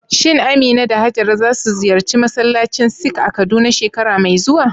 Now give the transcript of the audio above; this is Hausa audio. Shin Amina da Hajara za su ziyarci masallacin Sikh a Kaduna shekara mai zuwa?